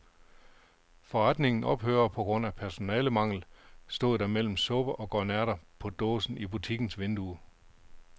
Forretningen ophører på grund af personalemangel, stod der mellem supper og grønærter på dåse i butikkens vindue.